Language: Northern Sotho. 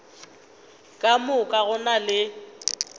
ka moka go na le